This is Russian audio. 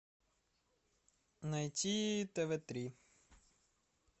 найти тв три